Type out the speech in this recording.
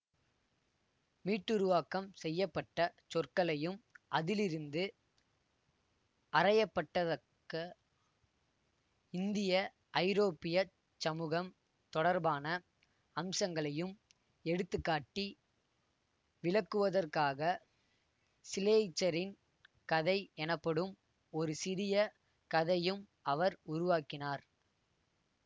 மீட்டுருவாக்கம் செய்ய பட்ட சொற்களையும் அதிலிருந்து அறயப்பட்டத்தக்க இந்தியஐரோப்பியச் சமூகம் தொடர்பான அம்சங்களையும் எடுத்து காட்டி விளக்குவதற்காக சிலெய்ச்சரின் கதை எனப்படும் ஒரு சிறிய கதையும் அவர் உருவாக்கினார்